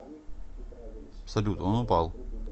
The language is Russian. салют он упал